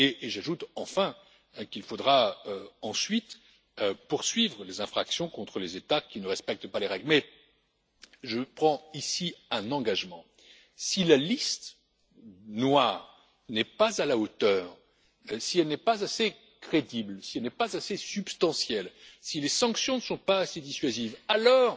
J'ajoute, enfin, qu'il faudra ensuite poursuivre les infractions contre les États qui ne respectent pas les règles, mais je prends ici un engagement si la liste noire n'est pas à la hauteur, si elle n'est pas assez crédible, si elle n'est pas assez substantielle, si les sanctions ne sont pas assez dissuasives, alors,